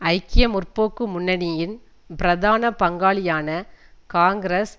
ஐக்கிய முற்போக்கு முன்னணியின் பிரதான பங்காளியான காங்கிரஸ்